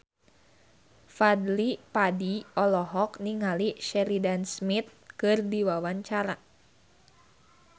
Fadly Padi olohok ningali Sheridan Smith keur diwawancara